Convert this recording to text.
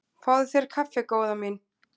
Fáðu þér kaffi góða mín.